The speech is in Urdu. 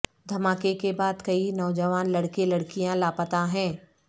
دھماکے کے بعد کئی نوجوان لڑکے لڑکیاں لاپتہ ہیں